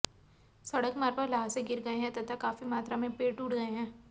सड़क मार्ग पर ल्हासे गिर गए हैं तथा काफी मात्रा में पेड़ टूट गए हैं